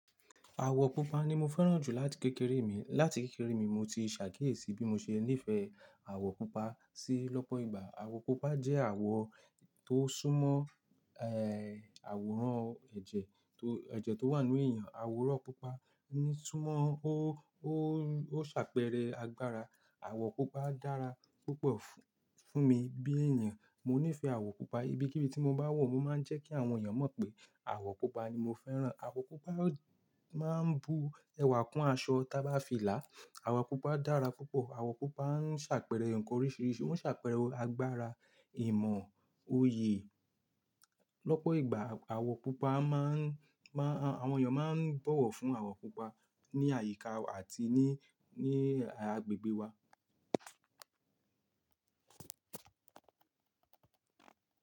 Àwọ̀ pupa ni mo fẹ́ràn jù láti kékeré mi. Láti kékeré mi mo ti ṣàkíyèsí bí mo ṣe nífẹ̀ẹ́ àwọ̀ pupa. Sí lọ́pọ̀ ìgbà àwọ̀ pupa jẹ́ àwọ̀ tó súnmọ́, ẹ́, àwòrán ẹ̀jẹ̀, tó, ẹ̀jẹ̀ tó wà nínú èèyàn. Àwòrán pupa ń súnmọ́, ó, ó, ó ṣàpẹẹrẹ agbára. Àwó púpa dàrá púpó fún mí bí èèyán. Mo nífẹ̀ẹ́ àwọ̀ pupa. Ibi kíbi tí mo bá wọ̀, mo máa ń jẹ́ kí àwọn èèyàn mọ̀ pé àwọ̀ pupa ni mo fẹ́ràn. Àwọ̀ pupa máa ń bu ẹwà kún aṣọ tí a bá fi lá. Àwọ̀ pupa dára púpọ̀. Àwọ̀ pupa ń ṣàpẹẹrẹ nǹkan oríṣìíríṣìí. Ó ń ṣàpẹẹrẹ agbára, ìmọ̀, òye. Lọ́pọ̀ ìgbà àwọ̀ pupa má ń, má ń, àwọn èèyàn máa ń bọ̀wọ̀ fún àwọ̀ pupa ní àyíká àti ní, ní agbègbè wa.